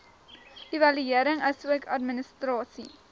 evaluering asook administrasie